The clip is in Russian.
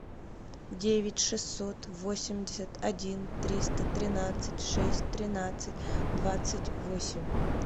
девять шестьсот восемьдесят один триста тринадцать шесть тринадцать двадцать восемь